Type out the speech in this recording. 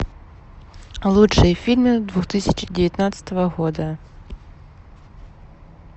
лучшие фильмы две тысячи девятнадцатого года